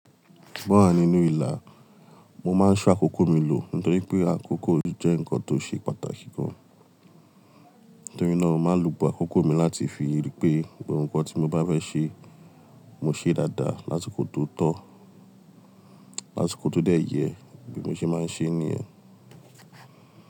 O wa nínú ìlà, mo máa ń ṣo akókò mi lò nítorí pé àkókò mi jẹ́ nǹkan tó ṣe pàtàkì gan. Nítorí náà, màá lò gbogbo akókò mi láti fi rí pé gbogbo nkán tí mo bá fẹ́ ṣe, mo ṣe dáadáa láti kò tó tọ́, lásikò tó dé ẹyẹ. Bí mo ṣe máa ń ṣe nìyẹn.